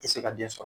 Tɛ se ka den sɔrɔ